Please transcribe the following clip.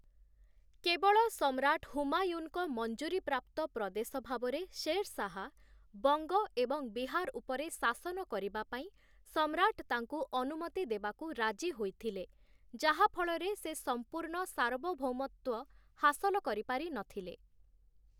କେବଳ ସମ୍ରାଟ ହୁମାୟୁନଙ୍କ ମଞ୍ଜୁରୀପ୍ରାପ୍ତ ପ୍ରଦେଶ ଭାବରେ ଶେରଶାହ ବଙ୍ଗ ଏବଂ ବିହାର ଉପରେ ଶାସନ କରିବା ପାଇଁ ସମ୍ରାଟ ତାଙ୍କୁ ଅନୁମତି ଦେବାକୁ ରାଜି ହୋଇଥିଲେ, ଯାହାଫଳରେ ସେ ସମ୍ପୂର୍ଣ୍ଣ ସାର୍ବଭୌମତ୍ୱ ହାସଲ କରିପାରିନଥିଲେ ।